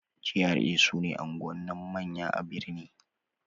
GRA' su ne unguwannin manya a birni